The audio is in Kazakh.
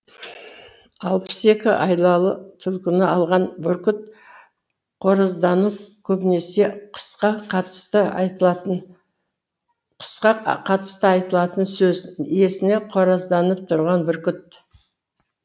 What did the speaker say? алпыс екі айлалы түлкіні алған бүркіт қораздану көбінесе құсқа қатысты айтылатын сөз иесіне қоразданып тұрған бүркіт